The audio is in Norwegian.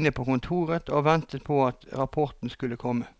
inne på kontoret og ventet på at rapporten skulle komme.